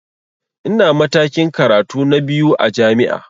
Ina matakin karatu na biyu a jami'a